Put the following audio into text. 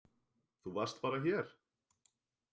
Þú varst bara hér.